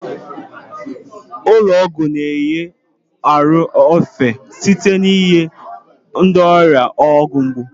Ụlọ ọgwụ na-enye ahụ efe site n'inye ndị ọrịa ọgwụ mgbu.